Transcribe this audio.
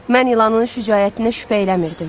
Mən ilanın şücaətinə şübhə eləmirdim.